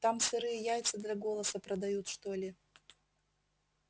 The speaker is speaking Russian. там сырые яйца для голоса продают что ли